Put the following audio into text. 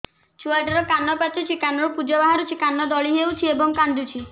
ଛୁଆ ଟା ର କାନ ପାଚୁଛି କାନରୁ ପୂଜ ବାହାରୁଛି କାନ ଦଳି ହେଉଛି ଏବଂ କାନ୍ଦୁଚି